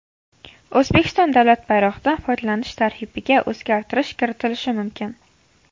O‘zbekiston davlat bayrog‘idan foydalanish tartibiga o‘zgartirish kiritilishi mumkin.